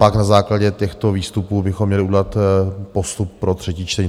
Pak na základě těchto výstupů bychom měli udělat postup pro třetí čtení.